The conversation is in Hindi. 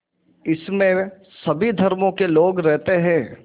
इसमें सभी धर्मों के लोग रहते हैं